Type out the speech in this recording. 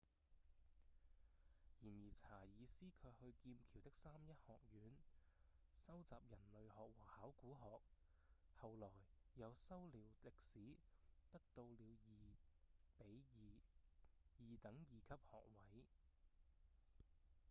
然而查爾斯卻去劍橋的三一學院修習人類學和考古學後來又修了歷史得到了 2:2 二等二級學位